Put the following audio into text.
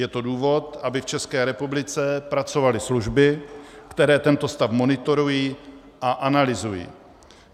Je to důvod, aby v České republice pracovaly služby, které tento stav monitorují a analyzují.